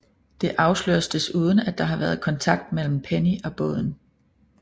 Det afsløres desuden at der har været kontakt mellem Penny og båden